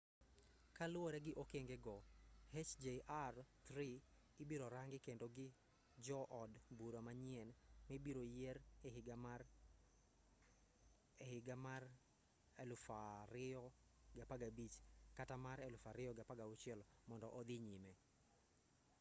kaluwore gi okenge go hjr-3 ibiro rangi kendo gi jo od bura manyien mibiro yier e higa mar 2015 kata mar 2016 mondo odhi nyime